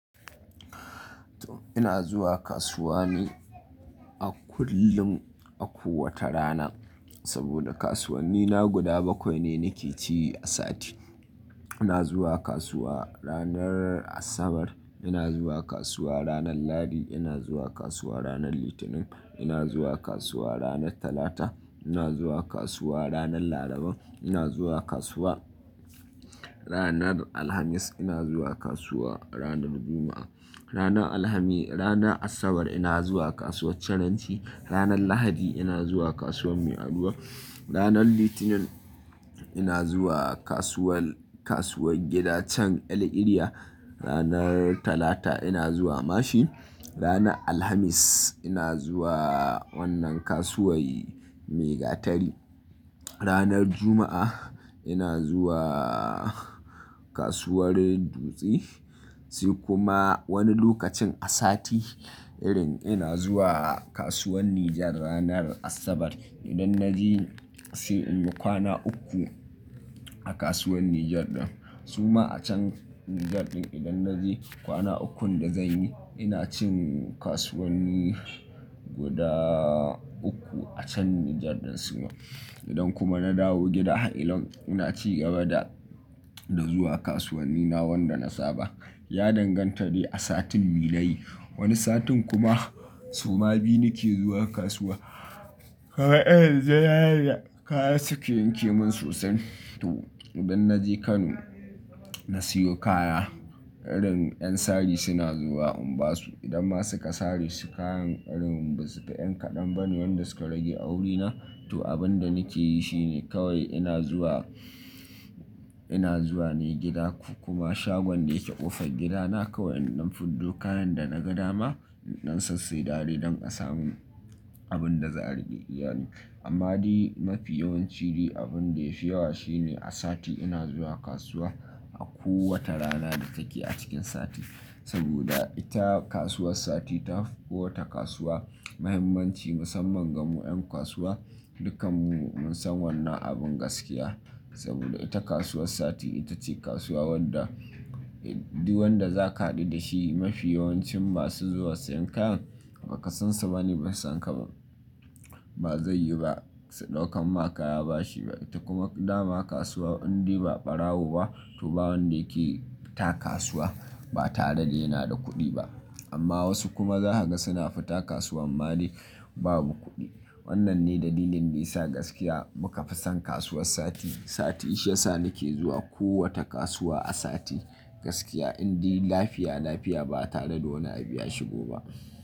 To ina zuwa kasuwa ni a kullum a kowace rana saboda kasuwanni na guda bakwai ne nake ci a sati. Ina zuwa kasuwa ranar Asabar, ina zuwa kasuwa ranar Lahadi, ina zuwa kasuwa ranar Litinin, ina zuwa kasuwa ranar Talata, ina zuwa kasuwa ranar Laraba, ina zuwa kasuwa ranar Alhamis, ina zuwa kasuwa ranar Juma'a. Ranar Alhamis-- rana Asabar ina zuwa kasuwar Charanci, ranar Lahadi ina zuwa kasuwar Mai Aruwa, ranar Litinin ina zuwa kasuwar, kasuwar gida can el-iriya, ranar Talata ina zuwa Mashin, ranar Alhamis ina zuwa wannan kasuwar Maigatari, ranar Juma'a ina zuwa kasuwar Dutse. Sai kuma wani lokacin a sati irin ina zuwa kasuwar Niger ranar Asabar. Idan na je sai inyi kwana uku a kasuwar Niger ɗin. Suma a can Niger ɗin idan na je kwana ukun da zanyi ina cin kasuwanni guda uku a can Niger ɗin sumu. Idan kuma na dawo gida, illan ina ci gaba da, da zuwa kasuwanni na wanda na saba. Ya danganta ne a satin me nayi. Wani satin kuma suma biyu nake zuwa kasuwa. Kawai zayaya kaya suke yanke min sosai. To idan na je Kano na siyo kaya, irin 'yan sari suna zuwa in basu idan ma suka sare su kayan irin basufi ƴan kaɗan ba ne wanda suka rage a wurina na. To abin da nake yi shine kawai ina zuwa, ina zuwa ne gida kuma shagon da yake ƙofar gidana kawai in rufe do kayan da na ga dama, in sassai dare don a samu abin da za a rage iya ni. Amma dai mafi yawanci dai abin da ya fi yawa shi ne a sati ina zuwa kasuwa a kowace rana da take a cikin sati. Saboda ita kasuwar sati ta fi kowace kasuwa muhimmanci musamman ga mu 'yan kasuwa. Dukkan mu mun san wannan abin gaskiya saboda ita kasuwar sati ita ce kasuwa wanda, du wanda zaka haɗu da shi mafi yawancin masu zuwa siyan kayan ba ka san su ba ne bai san ka ba. Ba zai yi ba, su ɗaukan ma kaya bashi ba. Ita kuma dama kasuwa indai ba ɓarawo ba to ba wanda yake fita kasuwa ba tare da yana da kuɗi ba. Amma wasu kuma za a ga suna fita kasuwa amma dai babu kuɗi. Wannan ne dalilin da ya sa gaskiya muka fi son kasuwar sati. Sati shi ya sa nake zuwa kowace kasuwa a sati gaskiya indai lafiya lafiya ba tare da wani abu ya shigo ba.